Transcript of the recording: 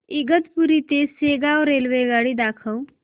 इगतपुरी ते शेगाव रेल्वेगाडी दाखव